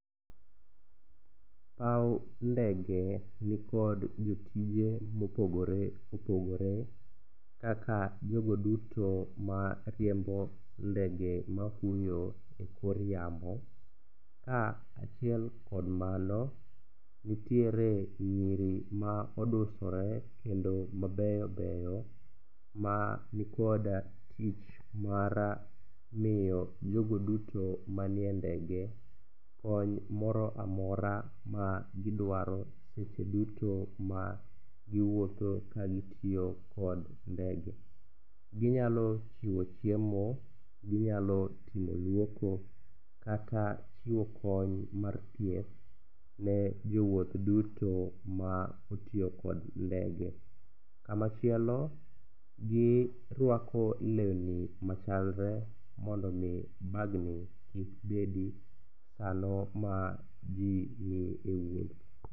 Paw ndege nikod jotije mopogore opogore kaka jogo duto mariembo ndege mafuyo ekor yamo, kaachiel kod mano, nitiere nyiri ma odusore kendo mabeyo beyo manikod tich mar miyo jogo duto manie ndege kony moro amora magiduaro seche duto ma giwuotho kagitiyo kod ndege. Ginyalo chiwo chiemo, ginyalo chiwo luoko kata chiwo kony mar thieth ne jowuoth duto ma otiyo kod ndege. Kama chielo giruako lewni machalre mondo omi bagni kik bedi sano maji nie wuoth.